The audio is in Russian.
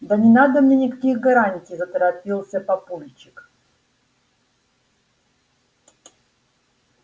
да не надо мне никаких гарантий заторопился папульчик